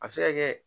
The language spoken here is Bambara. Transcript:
A bɛ se ka kɛ